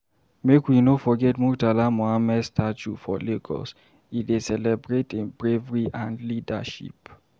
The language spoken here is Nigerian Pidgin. Make we no forget Murtala Muhammed Statue for Lagos, e dey celebrate im bravery and leadership.